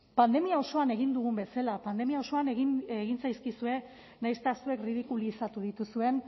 pandemia osoan egin dugun bezala pandemia osoan egin zaizkizue nahiz eta zuek ridikulizatu dituzuen